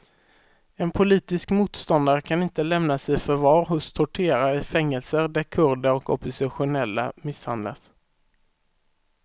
En politisk motståndare kan inte lämnas i förvar hos torterare i fängelser där kurder och oppositionella misshandlas.